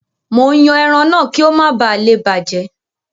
Mò ń yan ẹran náà kí ó má balè bàjẹ́.